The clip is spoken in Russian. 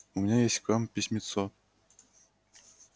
у меня есть к вам письмецо